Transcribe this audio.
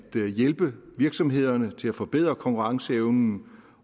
hjælpe virksomhederne til at forbedre konkurrenceevnen